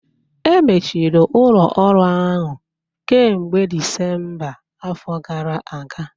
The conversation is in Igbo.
Emechiri ụlọ ọrụ ahụ kemgbe Disemba afọ gara aga